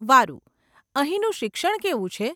વારુ, અહીંનું શિક્ષણ કેવું છે?